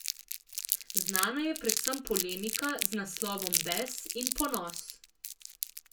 Znana je predvsem polemika z naslovom Bes in ponos.